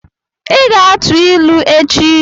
Ị ga-atụ ilu echi!